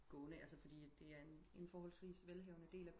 Gående altså fordi det er en forholdvis velhavende del af